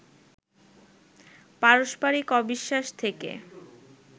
পারস্পরিক অবিশ্বাস থেকে